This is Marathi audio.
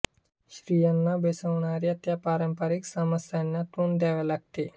स्त्रियांना भेसवणाऱ्या त्या पारंपरिक समस्यांना तोंड द्यावे लागते